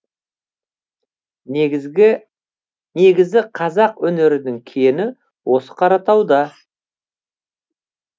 негізі қазақ өнерінің кені осы қаратауда